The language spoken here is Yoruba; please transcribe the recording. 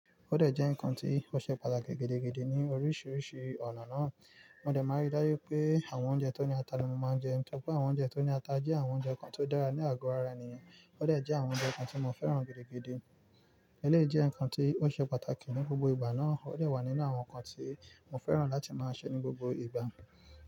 Ó dẹ̀ jẹ́ ǹkan tí ó ṣe pàtàkì gidi ní oríṣiríṣi ọ̀nà náà. Mo dẹ̀ máa rí dájú pé àwọn oúnjẹ tó ní ata ni mo máa ń jẹ, nítorí pé àwọn oúnjẹ tó ní ata jẹ́ àwọn oúnjẹ kan tó dára ní àgọ́ ara ènìyàn. Ó dẹ̀ jẹ́ àwọn oúnjẹ kan tí mo fẹ́ràn gidi. Elé jẹ́ ǹkan tí ó ṣe pàtàkì ní gbogbo ìgbà náà, ó dẹ̀ wà nínú àwọn nǹkan tí mo fẹ́ràn láti máa sè ní gbogbo ìgbà.